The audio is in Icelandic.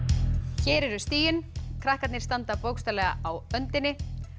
hér eru stigin krakkarnir standa bókstaflega á öndinni